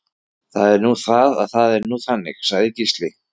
Það er nú það og það er nú þannig, sagði Gísli.